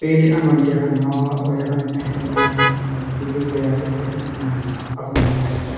पेली अब हम यखन ओ और यखन पैसा गाडा और बिलकुल बढ़िया ते सड़की किनारा मुंगा अब ने यखन --